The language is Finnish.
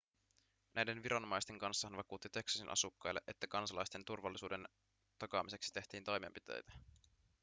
näiden viranomaisten kanssa hän vakuutti teksasin asukkaille että kansalaisten turvallisuuden takaamiseksi tehtiin toimenpiteitä